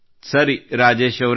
ಸರಿ ರಾಜೇಶ್ ಅವರೇ